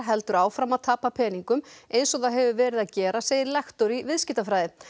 heldur áfram að tapa peningum eins og það hefur verið að gera segir lektor í viðskiptafræði